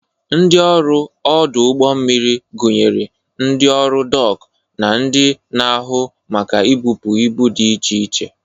Ndị ọrụ ọdụ ụgbọ mmiri gụnyere ndị ọrụ dọk na ndị na-ahụ maka ibụpu ibu dị iche iche.